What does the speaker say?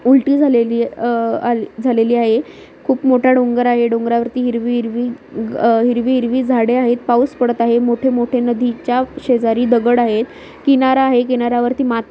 उलटी झालेली अ-ह अल- झालेली आहे खूप मोठा डोंगर आहे डोंगरावरती हिरवी हिरवी अह हिरवी-हिरवी झाडे आहेत पाऊस पडत आहे मोठे-मोठे नदीच्या शेजारी दगड आहेत किनारा आहे किनार्‍यावरती मात--